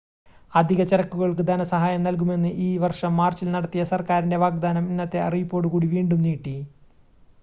അധിക ചരക്കുകൾക്ക് ധന സഹായം നൽകുമെന്ന് ഈ വർഷം മാർച്ചിൽ നടത്തിയ സർക്കാരിൻ്റെ വാഗ്ദാനം ഇന്നത്തെ അറിയിപ്പോടു കൂടി വീണ്ടും നീട്ടി